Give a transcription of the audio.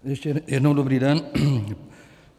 Ještě jednou dobrý den.